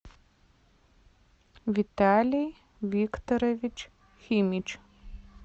виталий викторович химич